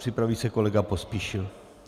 Připraví se kolega Pospíšil.